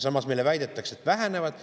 Samas meile väidetakse, et vähenevad.